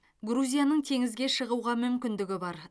грузияның теңізге шығуға мүмкіндігі бар